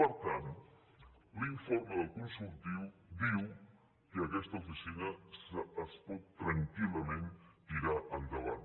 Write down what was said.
per tant l’informe del consultiu diu que aquesta oficina es pot tranquil·lament tirar endavant